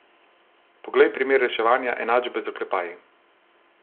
Poglej primer reševanja enačbe z oklepaji.